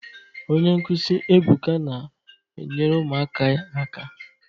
Onye nkụzi Ebuka na-enyere ụmụaka aka.